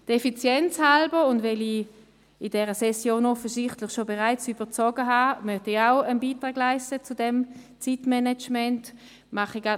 Effizienzhalber und weil ich in dieser Session offensichtlich bereits zu viel Zeit beansprucht habe, möchte ich zum Zeitmanagement ebenfalls einen Beitrag leisten.